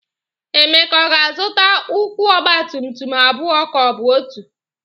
Emeka, ọ ga-azụta ụkwụ ọgbatumtum abụọ ka ọ bụ otu?